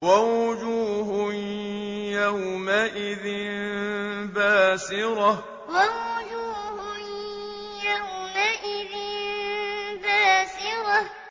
وَوُجُوهٌ يَوْمَئِذٍ بَاسِرَةٌ وَوُجُوهٌ يَوْمَئِذٍ بَاسِرَةٌ